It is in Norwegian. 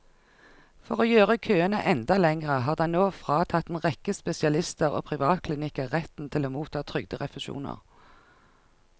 For å gjøre køene enda lengre har den nå fratatt en rekke spesialister og privatklinikker retten til å motta trygderefusjoner.